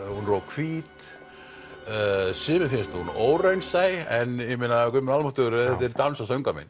hún vera of hvít sumum finnst hún óraunsæ en guð minn almáttugur þetta er dans og söngvamynd